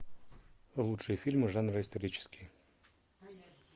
лучшие фильмы жанра исторический